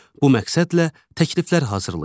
Bu məqsədlə təkliflər hazırlayın.